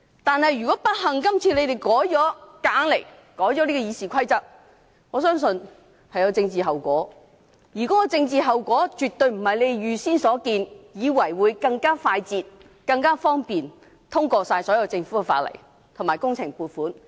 但是，如果今次建制派硬來，不幸地成功修改了《議事規則》，我相信將有政治後果，而絕非他們預計般，以為立法會將更快捷方便地通過所有政府的法案及工程撥款申請。